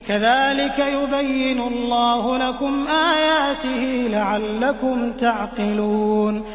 كَذَٰلِكَ يُبَيِّنُ اللَّهُ لَكُمْ آيَاتِهِ لَعَلَّكُمْ تَعْقِلُونَ